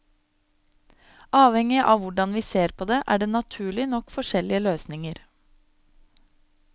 Avhengig av hvordan vi ser på det er det naturlig nok forskjellige løsninger.